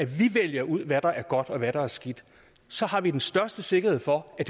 vi vælger ud hvad der er godt og hvad der er skidt så har vi den største sikkerhed for at